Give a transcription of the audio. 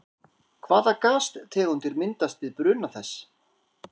Hvaða gastegundir myndast við bruna þess?